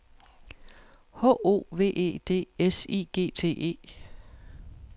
H O V E D S I G T E